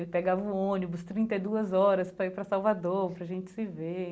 Ele pegava o ônibus trinta e duas horas para ir para Salvador, para a gente se ver.